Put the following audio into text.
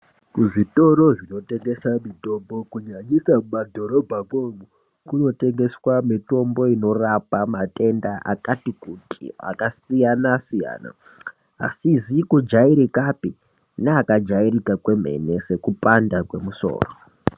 Kuzvitoro zvinotengesa mitombo kunyanyika mwumadhorobhako mwoumu kunotengesa mitombo inorapa matenda akati kuti akasiyana siyana asikazikujairikapi neakajairika kwemene sekupanda kwemusoro .